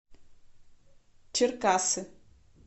черкассы